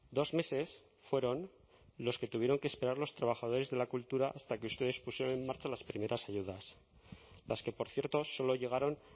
dos meses fueron los que tuvieron que esperar los trabajadores de la cultura hasta que ustedes pusieron en marcha las primeras ayudas las que por cierto solo llegaron